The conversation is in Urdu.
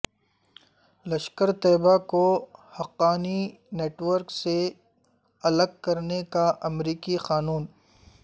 لشکرطیبہ کو حقانی نیٹ ورک سے الگ کرنے کا امریکی قانون